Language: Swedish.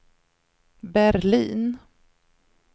Berlin